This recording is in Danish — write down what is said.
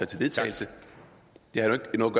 til vedtagelse det har jo ikke noget